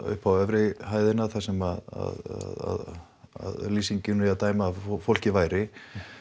upp á efri hæðina þar sem að af lýsingunni að dæma að fólkið væri